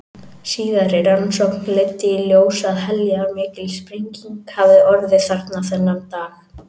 Síðari rannsókn leiddi í ljós að heljarmikil sprenging hafði orðið þarna þennan dag.